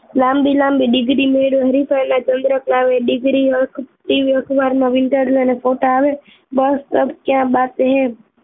લાંબી લાંબ degree મેળવી હરિફાઈ ના ચંદ્રક લાવે degreeTV અખબારમાં વીંટાળવાના photos આવે બસ અબ ક્યા બાત હૈ